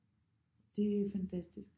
Det er fantastisk